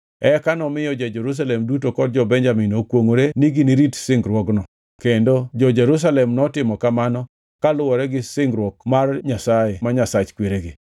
Eka nomiyo jo-Jerusalem duto kod jo-Benjamin okwongʼore ni ginirit singruokno kendo jo-Jerusalem notimo mano kaluwore gi singruok mar Nyasaye, ma Nyasach kweregi.